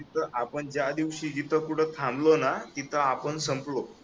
जिथ आपण ज्या दिवशी जिथे कुठे थांबलो ना तिथे आपण संपलो